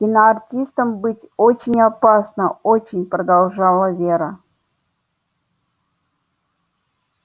киноартистом быть очень опасно очень продолжала вера